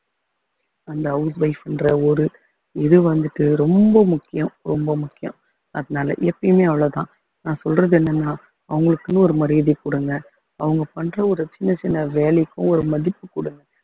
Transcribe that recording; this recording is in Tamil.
அந்த house wife ன்ற ஒரு இது வந்துட்டு ரொம்ப முக்கியம் ரொம்ப முக்கியம் அதனால எப்பயுமே அவ்வளவுதான் நான் சொல்றது என்னன்னா அவங்களுக்குன்னு ஒரு மரியாதை கொடுங்க அவங்க பண்ற ஒரு சின்னச் சின்ன வேலைக்கும் ஒரு மதிப்பு கொடுங்க